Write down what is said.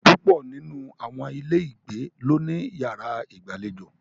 Púpọ̀ nínú àwọn ilé ìgbé ló ní yàrá ìgbàlejò.